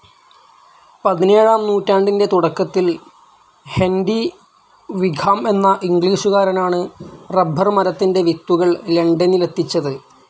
പതിനേഴാം നൂറ്റാണ്ടിൻ്റെ തുടക്കത്തിൽ ഹെൻ്റി വിഖാം എന്ന ഇംഗ്ലീഷുകാരനാണ് റബ്ബർ മരത്തിൻ്റെ വിത്തുകൾ ലണ്ടനിലെത്തിച്ചത്.